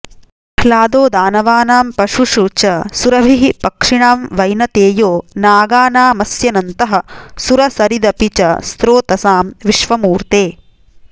प्रह्लादो दानवानां पशुषु च सुरभिः पक्षिणां वैनतेयो नागानामस्यनन्तः सुरसरिदपि च स्रोतसां विश्वमूर्ते